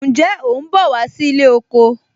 Ǹjẹ́ o ń bọ̀ wá sí ilé oko